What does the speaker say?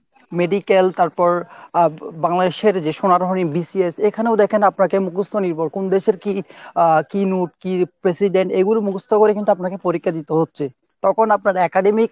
medical আ তারপর Bangladesh এর যে সোনার BCS এখানেও দ্যাখেন আপনাকে মুখস্ত নির্ভর কোন দেশের কী আহ কী নুট কী president এগুলো মুখস্ত করে কিন্তু আপনাকে পরীক্ষা দিতে হচ্ছে। তখন আপনার academic